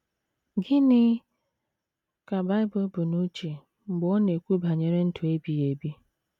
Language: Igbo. Gịnị ka Bible bu n’uche mgbe ọ na - ekwu banyere ndụ ebighị ebi?